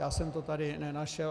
Já jsem to tady nenašel.